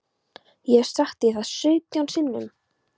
Ég hef sagt þér það sautján sinnum.